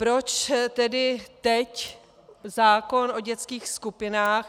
Proč tedy teď zákon o dětských skupinách?